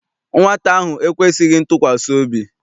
Nwata ahụ ekwesịghị ntụkwasị obi.